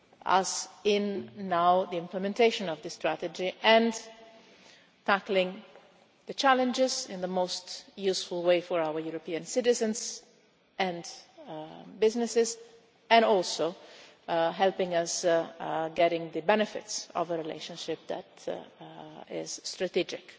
us in, now, the implementation of this strategy and tackling the challenges in the most useful way for our European citizens and businesses and also helping us get the benefits of a relationship that is strategic